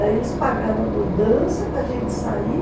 Aí eles pagaram a mudança para gente sair.